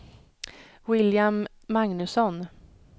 William Magnusson